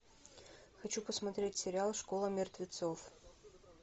хочу посмотреть сериал школа мертвецов